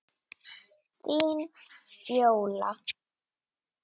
Þín Fjóla.